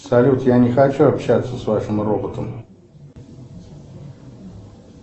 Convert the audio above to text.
салют я не хочу общаться с вашим роботом